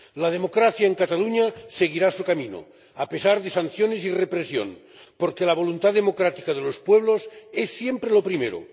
La democracia en Cataluña seguirá su camino, a pesar de las sanciones y la represión, porque la voluntad democrática de los pueblos es siempre lo primero.